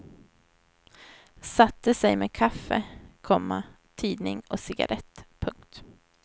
Satte sig med kaffe, komma tidning och cigarrett. punkt